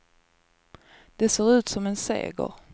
Det ser ut som en seger.